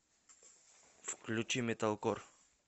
включи металкор